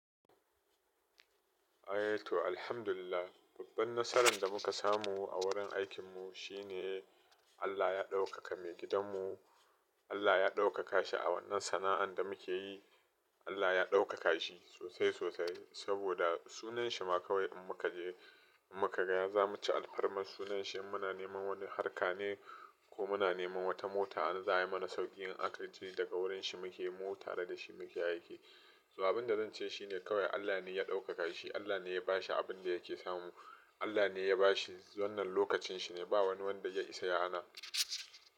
Eh to alhamdulillah. Babban nasaran da muka samu a wurin aikinmu shine Allah ya ɗaukaka maigidanmu. Allah ya ɗaukaka shi a wannan sana'an da muke yi. Allah ya ɗaukaka shi sosai sosai saboda sunan shi ma kawai in muka je, in muka gaya za mu ci alfarma. Sunan shi muna neman wani harka ne ko muna neman wata mota, an za ayi mana sauƙi in aka ji daga wurin shi muke mu tare da shi muke aiki. Sababin da zan ce shi ne kawai Allah ne ya ɗaukaka shi. Allah ne ya ba shi abin da yake samu. Allah ne ya ba shi wannan lokacin shi ne. Ba wani wanda ya isa yana.